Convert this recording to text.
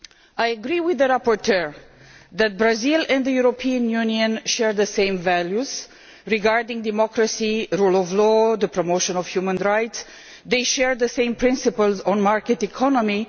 I agree with the rapporteur that Brazil and the European Union share the same values regarding democracy, the rule of law and the promotion of human rights, and share the same principles on market economy.